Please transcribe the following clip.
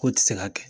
K'o tɛ se ka kɛ